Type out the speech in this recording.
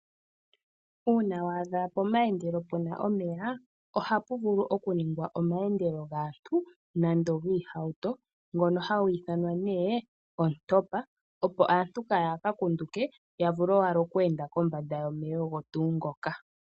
Uuna wa adha pomayendelo pena omeya ohapu vulu ohapu vulu okuningwa omayendelo gaantu nenge giihauto ngono hagi ithanwa nee ontopa opp aantu Kaya ka kunduke ,yavule owala oku enda kombanda yomeya ogo tuu ngoka.